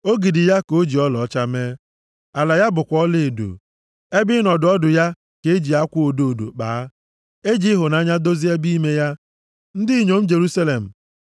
Ogidi ya ka o ji ọlaọcha mee; ala ya bụkwa ọlaedo. Ebe ịnọdụ ọdụ ya ka e ji akwa odo odo kpaa, e ji ịhụnanya dozie ebe ime ya. Ndị inyom Jerusalem,